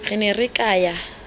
re ne re ka ya